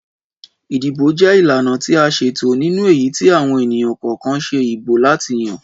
Ìdìbò jẹ ìlànà ti a ṣètò nínú èyítí àwọn ènìyàn kọ̀ọkan ṣe ìbò láti yan